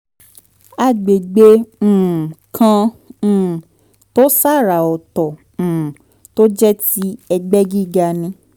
agbegbe um kan um tó ṣàrà ọ̀tọ̀ um tó jẹ́ ti ẹgbẹ́ gíga ni